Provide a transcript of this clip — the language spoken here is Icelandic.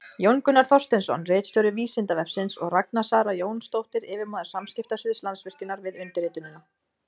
Jón Gunnar Þorsteinsson, ritstjóri Vísindavefsins, og Ragna Sara Jónsdóttir, yfirmaður samskiptasviðs Landsvirkjunar, við undirritunina.